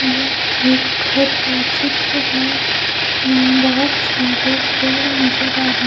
यह एक घर का चित्र है यहां बहोत सारे पेड़ नजर आ रहे--